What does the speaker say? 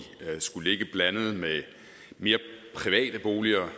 skulle ligge blandet med mere private boliger